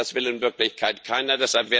Und das will in Wirklichkeit keiner.